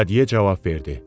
Lekadiye cavab verdi.